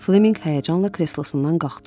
Fleminq həyəcanla kreslosundan qalxdı.